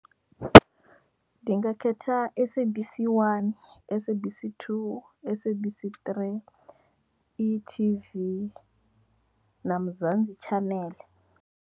Ndi nga khetha SABC 1, SABC 2, SABC 3, e-TV na Mzansi channel.